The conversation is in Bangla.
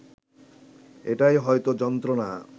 এটাই হয়ত যন্ত্রনা